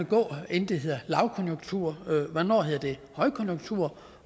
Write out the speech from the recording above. gå inden det hedder lavkonjunktur hvornår hedder det højkonjunktur